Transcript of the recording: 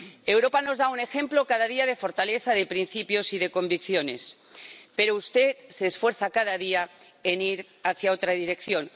Europa nos da un ejemplo, cada día, de fortaleza, de principios y de convicciones, pero usted se esfuerza, cada día, en ir hacia otra dirección.